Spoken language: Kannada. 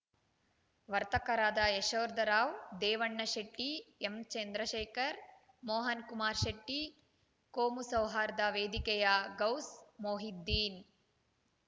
ವರ್ತಕರಾದ ಯಶೋಧರ್‌ ರಾವ್‌ ದೇವಣ್ಣ ಶೆಟ್ಟಿ ಎಂಚಂದ್ರಶೇಖರ್‌ ಮೋಹನ್‌ಕುಮಾರ್‌ ಶೆಟ್ಟಿ ಕೋಮುಸೌಹಾರ್ದ ವೇದಿಕೆಯ ಗೌಸ್‌ ಮೋಹಿದ್ದೀನ್‌